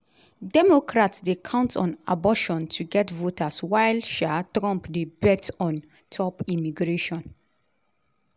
democrats dey count on abortion to get voters while um trump dey bet ontop immigration.